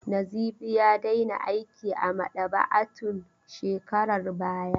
Nazifi ya daina aiki a maɗaba'a tun shekarar bara.